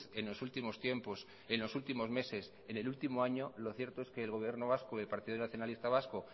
en los últimos tiempos en los últimos meses en el último año lo cierto es que el gobierno vasco y el partido nacionalista vasco